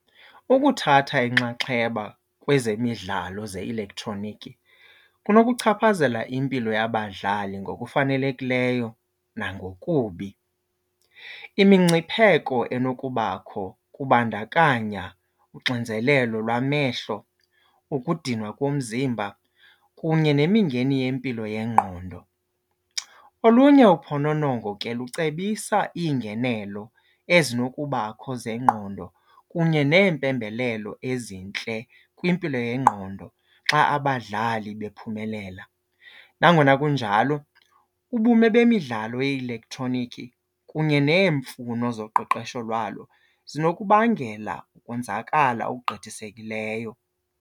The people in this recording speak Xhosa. Ukuthatha inxaxheba kwezemidlalo ze-elektroniki kunokuchaphazela impilo yabadlali ngokufanelekileyo nangokubi. Imingcipheko enokubakho kubandakanya uxinzelelo lwamehlo, ukudinwa komzimba kunye nemingeni yempilo yengqondo. Olunye uphononongo ke lucebisa iingenelo ezinokubakho zengqondo kunye neempembelelo ezintle kwimpilo yengqondo xa abadlali bephumelela. Nangona kunjalo ubume bemidlalo ye-elektroniki kunye neemfuno zoqeqesho lwalo zinokubangela ukonzakala okugqithisekileyo.